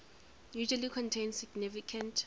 usually contain significant